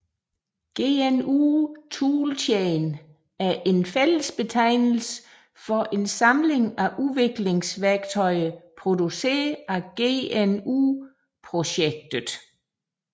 GNU toolchain er en fællesbetegnelse for en samling af udviklingsværktøjer produceret af GNU Projectet